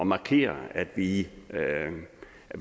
markere at vi